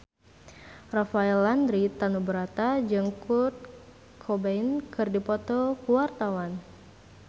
Rafael Landry Tanubrata jeung Kurt Cobain keur dipoto ku wartawan